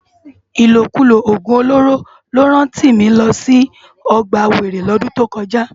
Ilókúló ógún ólóró ló rán Timi lò si ògbá wéré lòdún tókòjá